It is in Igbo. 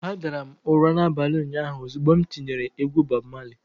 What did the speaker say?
Adara m ụra n'abalị ụnyaahụ ozugbo m tinyere egwu Bob Marley.